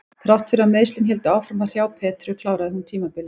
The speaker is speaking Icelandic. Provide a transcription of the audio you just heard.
Þrátt fyrir að meiðslin héldu áfram að hrjá Petru kláraði hún tímabilið.